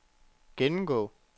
gennemgå